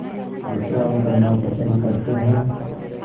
विश्राम करना पसंद करते हैं